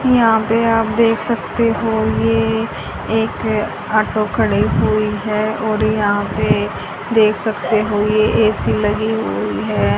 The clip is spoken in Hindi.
यहां पे आप देख सकते हो ये एक ऑटो खड़ी हुई है और यहां पे देख सकते हो ये ए_सी लगी हुई है।